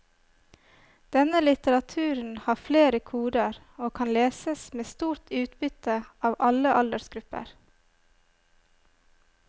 Denne litteraturen har flere koder og kan leses med stort utbytte av alle aldersgrupper.